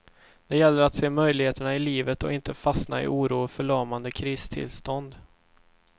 Det gäller att se möjligheterna i livet och inte fastna i oro och förlamande kristillstånd.